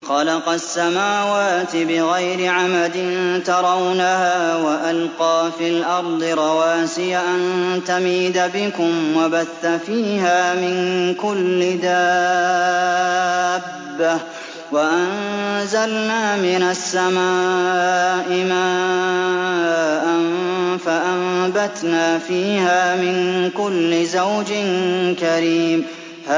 خَلَقَ السَّمَاوَاتِ بِغَيْرِ عَمَدٍ تَرَوْنَهَا ۖ وَأَلْقَىٰ فِي الْأَرْضِ رَوَاسِيَ أَن تَمِيدَ بِكُمْ وَبَثَّ فِيهَا مِن كُلِّ دَابَّةٍ ۚ وَأَنزَلْنَا مِنَ السَّمَاءِ مَاءً فَأَنبَتْنَا فِيهَا مِن كُلِّ زَوْجٍ كَرِيمٍ